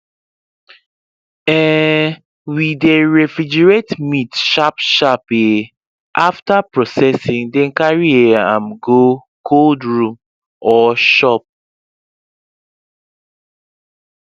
um we dey refrigerate meat sharpsharp um after processing then carry um am go cold room or shop